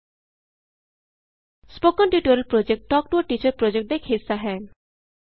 spoken tutorial project talk to a teacher project ਦਾ ਇਕ ਹਿੱਸਾ ਹੈ